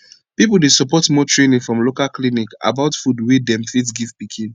people dey support more training from local clinic about food wey them fit give pikin